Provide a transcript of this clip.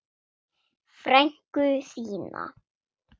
Frænku þína?